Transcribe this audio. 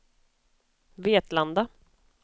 Vetlanda